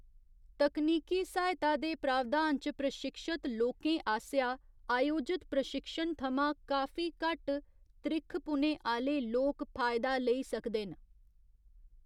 तकनीकी सहायता दे प्रावधान च प्रशिक्षत लोकें आसेआ अयोजत प्रशिक्षण थमां काफी घट्ट त्रिक्खपुने आह्‌‌‌ले लोक फायदा लेई सकदे न।